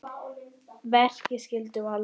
Verki skyldu valda